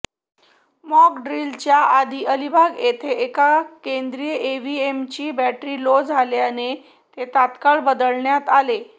mock ड्रिलच्या आधी अलिबाग येथील एका केंद्रावर ईव्हीएमची बॅटरी लो झाल्याने ते तत्काळ बदलण्यात आले